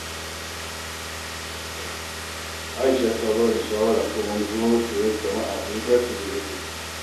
Aisha ta ba ni shawara kan wani wurin koyon sana’a da ya dace da lokacina